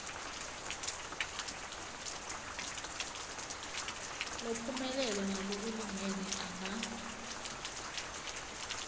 lophumelele ngalokulingene anga